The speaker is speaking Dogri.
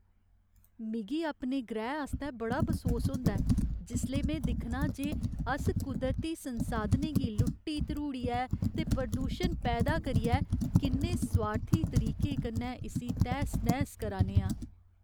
मिगी अपने ग्रैह् आस्तै बड़ा बसोस होंदा ऐ जिसलै में दिक्खनां जे अस कुदरती संसाधनें गी लुट्टी धरूड़ियै ते प्रदूशन पैदा करियै किन्ने सोआर्थी तरीके कन्नै इस्सी तैह्स नैह्स करा ने आं।